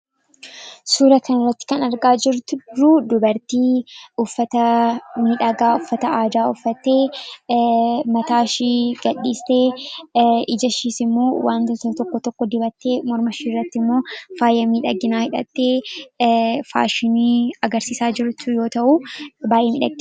Suuraa kana irratti kan argaa jirru dubartii uffata miidhagaa uffatte mataa ishee gadhiiftee, ija ishees ammoo wantoota tokko tokko dibattee, morma ishee irratti ammoo faaya miidhaginaa hidhattee faashinii agarsiisaa jirtu yemmuu ta'u, baay'ee miidhagdi.